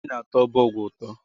Mmiri na-atọ ọbọgwụ ụtọ